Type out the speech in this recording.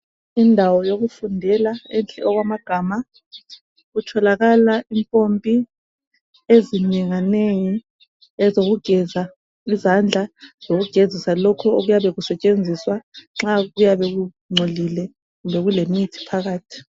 Indawo yokufundela enhle okwamagama. Kutholakala impompi ezinenga nengi ezokugeza izandla lokugezisalokhu okuyabe kusetshenziswa nxa kuyabe kungcolile kumbe kulemithi phakathi.